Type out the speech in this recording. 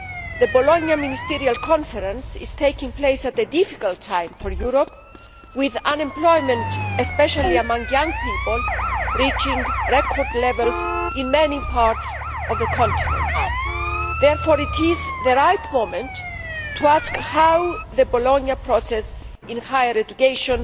The Bologna ministerial conference is taking place at a difficult time for Europe with unemployment, especially among young people, reaching record levels in many parts of the continent. Therefore it is the right moment to ask how the Bologna process in higher education